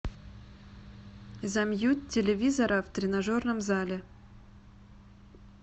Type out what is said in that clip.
замьють телевизора в тренажерном зале